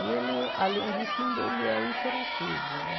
E ele, além disso, ainda ele é hiperativo, né?